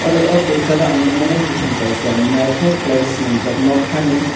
o kosaro ang nogmano bopang kaisa naitok kelaioe selamjak noka ni.